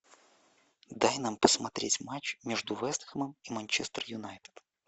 дай нам посмотреть матч между вест хэмом и манчестер юнайтед